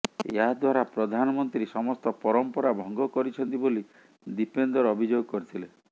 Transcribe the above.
ଏହାଦ୍ୱାରା ପ୍ରଧାନମନ୍ତ୍ରୀ ସମସ୍ତ ପରମ୍ପରା ଭଙ୍ଗ କରିଛନ୍ତି ବୋଲି ଦୀପେନ୍ଦର ଅଭିଯୋଗ କରିଥିଲେ